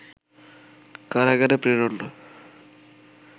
কারাগারে প্রেরণ